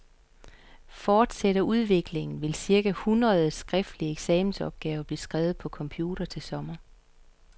Fortsætter udviklingen, vil cirka syv hundrede skriftlige eksamensopgaver blive skrevet på computer til sommer.